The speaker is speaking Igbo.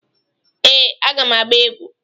ee, a ga m agba egwu.